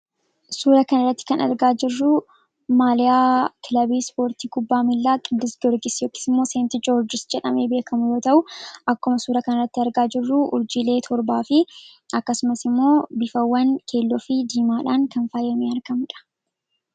suura kan irratti kan argaa jirruu maaliyaa kilabiis poortii gubbaa miillaa qiddis gorgis yokismoo seenti joorges jedhame beekamu yoo ta'u akkuma suura kan irratti argaa jirruu urjiilee torbaa fi akkasumas immoo bifawwan keelloo fi diimaadhaan kan faayyamee arkamuudha